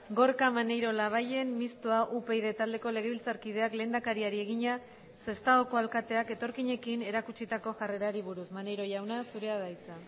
gorka maneiro labayen mistoa upyd taldeko legebiltzarkideak lehendakariari egina sestaoko alkateak etorkinekin erakutsitako jarrerari buruz maneiro jauna zurea da hitza